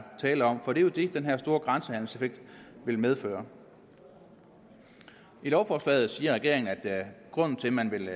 tale om for det er jo det den her store grænsehandelseffekt vil medføre i lovforslaget siger regeringen at grunden til man vil